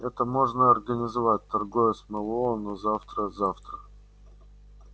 это можно организовать торговец мэллоу но завтра завтра